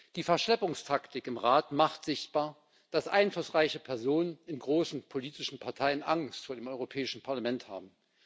Die Verschleppungstaktik im Rat macht sichtbar, dass einflussreiche Personen in großen politischen Parteien Angst vor dem Europäischen Parlament haben.